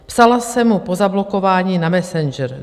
Psala jsem mu po zablokování na Messenger.